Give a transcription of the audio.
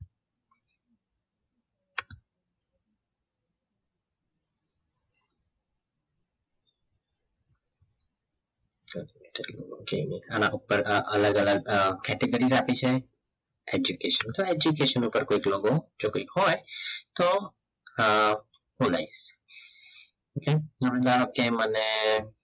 અલગ અલગ category આપી છે education for education પર કોઈ logo જો કંઈક હોય તો હમ હું લઈશ કેમ અને